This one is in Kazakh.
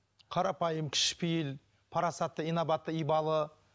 қарапайым кішіпейіл парасатты инабатты ибалы